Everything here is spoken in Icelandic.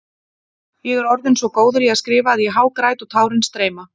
Ég er orðinn svo góður í að skrifa að ég hágræt og tárin streyma.